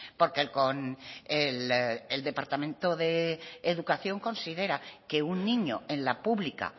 porque con el el departamento de educación considera que un niño en la pública